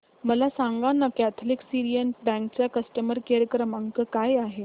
मला सांगाना Catholic Syrian bank चा कस्टमर केअर क्रमांक काय आहे